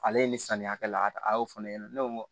Ale ye ni samiya cɛla ta a y'o fɔ ne ɲɛna ne ko n ko